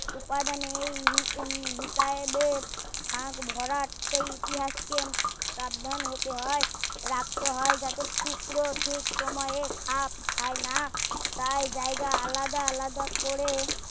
উপাদানের এই হিতাইদের ফাক ভরাট এই ইতিহাস কে কাবায়ণ হতে হয় যাতে টুকরো ঠিক সময়ে খাপ খায় না তাই জায়গা আলাদা আলাদা করে